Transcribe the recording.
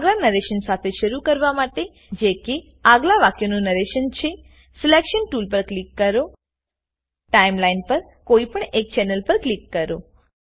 આગલાં narration શાથે શરુ કરવા માટે જેકે આગલાં વાક્યનું નરેશન છેસિલેકશન ટુલ પર ક્લિક કરોટાઈમ લાઈન પર કોઈ પણ એક ચેનલ પર ક્લિક કરો